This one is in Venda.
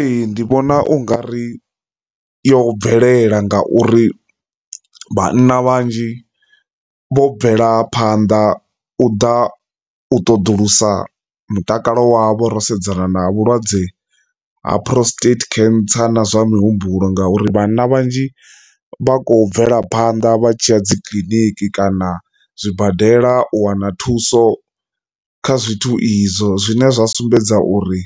Ee, ndi vhona u nga ri yo bvelela ngauri vhanna vhanzhi vho bvela phanḓa u ḓa u ṱoḓulusa mutakalo wa vho ro sedzana na vhulwadze ha prostate cancer na zwa muhumbulo, ngauri vhanna vhanzhi vha khou bvela phanḓa vha tshiya dzi kiḽiniki kana zwibadela u wana thuso kha zwithu izwo zwi nṋe zwa sumbedza uri